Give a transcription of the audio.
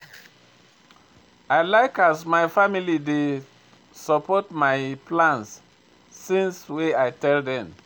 I like as my family take dey support my plans since wey I tell dem.